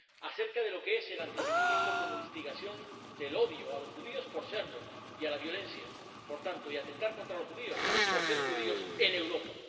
acerca de lo que es el antisemitismo como instigación del odio a los judíos por serlo y a la violencia, y, por tanto, a atentar contra los judíos por ser judíos en Europa.